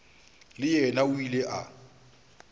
le yena o ile a